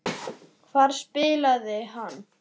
Hvar spilaði hann?